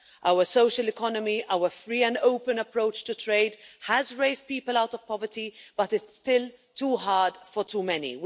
our social economy, our free and open approach to trade has raised people out of poverty, but it's still too hard for too many.